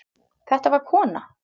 Þetta var kona.